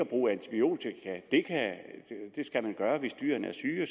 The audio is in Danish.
bruge antibiotika hvis dyrene er syge